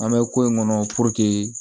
An bɛ ko in kɔnɔ